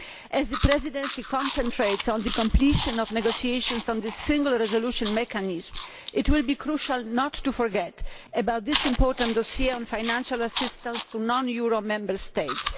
As the Presidency concentrates on the completion of negotiations on the Single Resolution Mechanism, it will be crucial not to forget about this important dossier on financial assistance to non euro Member States.